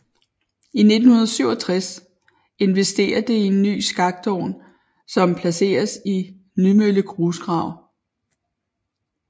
I 1967 investerer det i en ny skaktovn som placeres i Nymølle Grusgrav